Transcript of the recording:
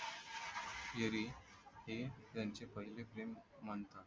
तेरी हे त्यांचे पहिले प्रेम म्हणतात